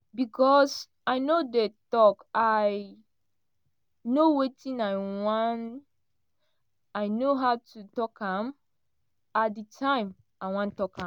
becos i no dey tok i know wetin i want i know how to tok am at di time i wan tok am.